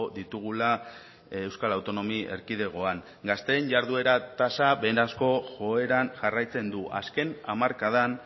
ditugula euskal autonomia erkidegoan gazteen jarduera tasa beherazko joeran jarraitzen du azken hamarkadan